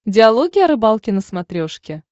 диалоги о рыбалке на смотрешке